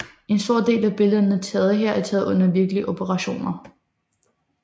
En stor del af billederne taget her er taget under virkelige operationer